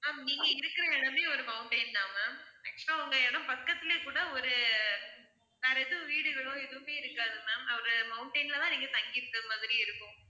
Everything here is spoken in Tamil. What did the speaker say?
ma'am நீங்க இருக்கிற இடமே ஒரு mountain தான் ma'am actual ஆ உங்க இடம் பக்கத்திலேயே கூட ஒரு வேற எதுவும் வீடுகளோ எதுவுமே இருக்காது ma'am ஒரு mountain ல தான் நீங்க தங்கியிருக்கிற மாதிரி இருக்கும